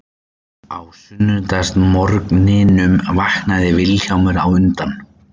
Á sunnudagsmorgninum vaknaði Vilhjálmur á undan